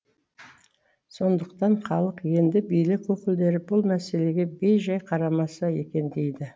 сондықтан халық енді билік өкілдері бұл мәселеге бейжай қарамаса екен дейді